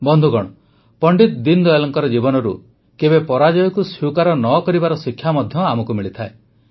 ବନ୍ଧୁଗଣ ପଣ୍ଡିତ ଦୀନଦୟାଲଙ୍କ ଜୀବନରୁ କେବେ ପରାଜୟକୁ ସ୍ୱୀକାର ନ କରିବାର ଶିକ୍ଷା ମଧ୍ୟ ଆମକୁ ମିଳିଥାଏ